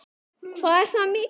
Hvað er það mikið?